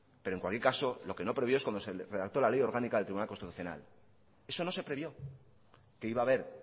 pero en cualquier caso lo que no previó es cuando se redactó la ley orgánica del tribunal constitucional eso no se previó que iba a haber